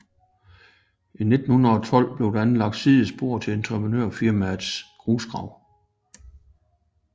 I 1912 blev der anlagt sidespor til et entreprenørfirmas grusgrav